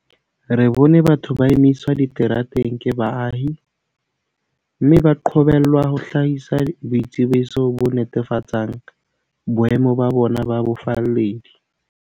Re bone batho ba emiswa diterateng ke baahi, mme ba qobellwa ho hlahisa boitsebiso bo netefatsang boemo ba bona ba bofalledi.